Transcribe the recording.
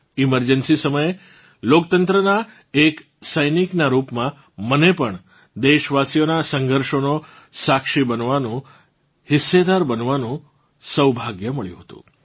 emergency સમયે લોકતંત્રનાં એક સૈનિકનાં રૂપમાં મને પણ દેશવાસીઓનાં સંઘર્ષોનો સાક્ષી બનવાનું હિસ્સેદાર બનવાનું સૌભાગ્ય મળ્યું હતું